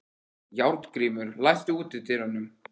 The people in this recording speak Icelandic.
Járngrímur, læstu útidyrunum.